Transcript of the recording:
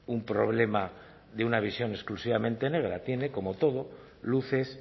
un problema de una visión exclusivamente negra tiene como todo luces